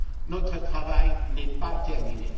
Notre travail n'est pas terminé.